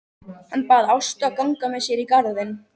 Hann bað Ástu að ganga með sér í garðinn.